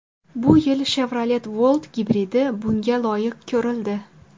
Bu yil Chevrolet Volt gibridi bunga loyiq ko‘rildi.